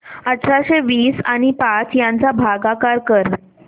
अठराशे वीस आणि पाच यांचा भागाकार कर